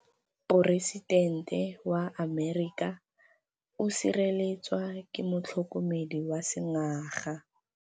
Poresitêntê wa Amerika o sireletswa ke motlhokomedi wa sengaga.